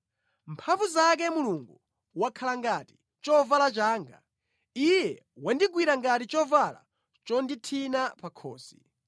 Mʼmphamvu zake Mulungu wakhala ngati chovala changa; Iye wandigwira ngati chovala chondithina pa khosi.